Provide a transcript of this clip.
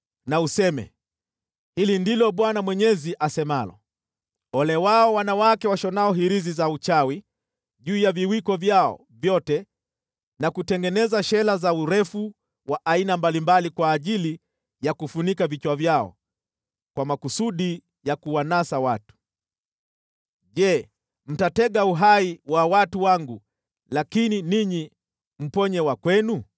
na useme, ‘Hili ndilo Bwana Mwenyezi asemalo: Ole wao wanawake washonao hirizi za uchawi juu ya viwiko vyao vyote na kutengeneza shela za urefu wa aina mbalimbali kwa ajili ya kufunika vichwa vyao kwa makusudi ya kuwanasa watu. Je, mtatega uhai wa watu wangu lakini ninyi mponye wa kwenu?